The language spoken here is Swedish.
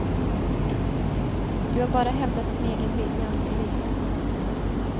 Du har bara hävdat din egen vilja och integritet.